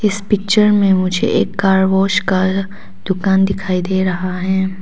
इस पिक्चर में मुझे एक कार वाश का दुकान दिखाई दे रहा है।